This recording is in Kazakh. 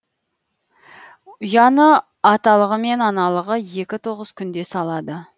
ұяны аталығы мен аналығы екі тоғыз күнде салады